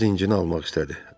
Biraz dincini almaq istədi.